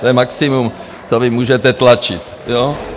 To je maximum, co vy můžete tlačit.